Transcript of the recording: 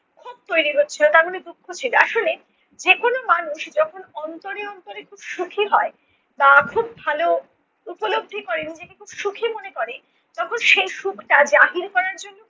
ক্ষোভ তৈরী হচ্ছে তার মানে দুঃখ ছিল। আসলে যেকোন মানুষ যখন অন্তরে অন্তরে খুব সুখী হয় তা খুব ভালো উপলব্ধি করে, নিজেকে খুব সুখী মনে করে তখন সেই সুখটা জাহির করার জন্য